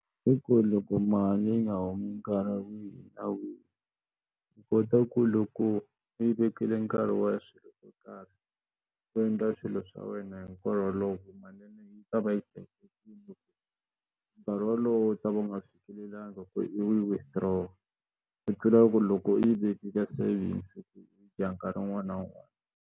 I ku loko mali yi nga humi nkarhi wihi na wihi u kota ku loko u yi vekile nkarhi wa swilo swo karhi u endla swilo swa wena hinkwaro wolowo teka nkarhi wolowo u ta va u nga fikelelangi ku i yi withdraw u tlula ku loko yi veke ka savings nkarhi wun'wana na wun'wana.